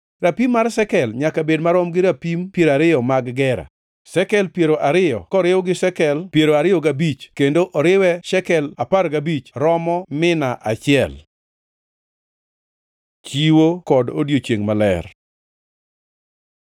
Rapim mar shekel nyaka bed marom gi rapim 20 mag gera. Shekel piero ariyo koriw gi shekel piero ariyo gabich kendo oriwe shekel apar gabich romo mina achiel. Chiwo kod odiechiengʼ maler